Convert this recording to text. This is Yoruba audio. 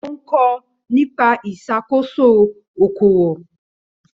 Ó ń kọ́ nípa ìṣàkóso okòwò.